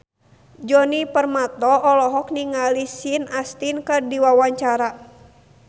Djoni Permato olohok ningali Sean Astin keur diwawancara